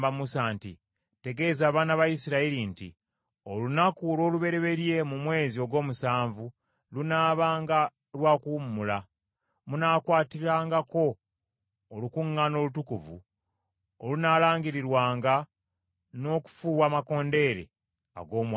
“Tegeeza abaana ba Isirayiri nti olunaku olw’olubereberye mu mwezi ogw’omusanvu lunaabanga lwa kuwummula, munaakwatirangako olukuŋŋaana olutukuvu olunaalangirirwanga n’okufuuwa amakondeere ag’omwanguka.